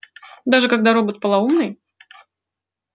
даже когда робот полоумный